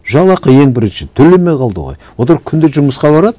жалақы ең бірінші төлемей қалды ғой олар күнде жұмысқа барады